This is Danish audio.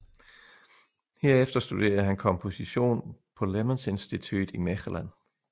Herefter studerede han komposition på Lemmensinstituut i Mechelen